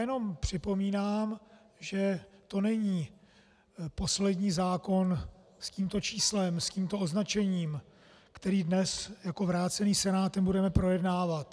Jenom připomínám, že to není poslední zákon s tímto číslem, s tímto označením, který dnes jako vrácený Senátem budeme projednávat.